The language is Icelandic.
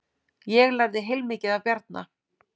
Ég lærði heilmikið af Bjarna.